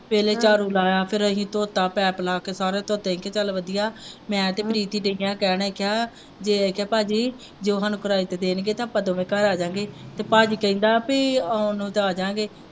ਫਿਰ ਝਾੜੂੂ ਲਾਇਆ ਫਿਰ ਅਸੀਂ ਧੋਤਾ ਪਾਇਪ ਨਾਲ ਫਿਰ ਸਾਰੇ ਧੋਤੇ ਤੇ ਚੱਲ ਵਧੀਆ ਮੈਂ ਤੇ ਨੀਸੀ ਗਈਆਂ ਕਹਿਣ ਵਾਸਤੇ ਜੇ ਤੇ ਪਾਜੀ ਜੇ ਸਾਨੂੰ ਕਿਰਾਏ ਤੇ ਦੇਣਗੇ ਤੇ ਅਪਾਂ ਦੋਵੇਂ ਘਰ ਆ ਜਾਂਗੇਂ ਤੇ ਪਾਜੀ ਕਹਿੰਦਾ ਪੀ ਆਉਣ ਨੂੰ ਤੇ ਆ ਜਾਂਗੇਂ।